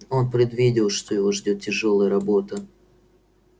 он предвидел что его ждёт тяжёлая работа